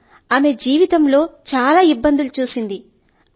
sir ఆమె జీవితం లో చాలా ఇబ్బందుల ను చూశారు